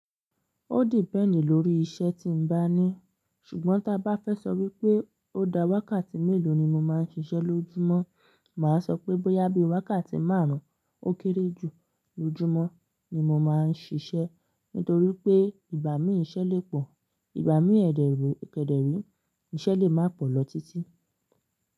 Ó depend lórí iṣẹ́ tí ń bá ní. Ṣùgbọ́n ta bá fẹ́ sọ wípé ó dá wákàtí mélòó ni mo máa ń ṣiṣẹ́ lójúmọ́, mà á sọ pé bóyá bí i wákàtí márùn-ún ó kéré jù lójúmọ́ ni mo máa ń ṣiṣẹ́. Nítorí pé ìgbà mí ìṣe lè pọ̀, ìgbà mí kedere, ìṣe lè má pọ̀ lọ títí.